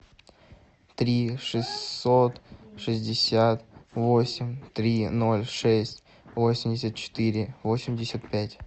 три шестьсот шестьдесят восемь три ноль шесть восемьдесят четыре восемьдесят пять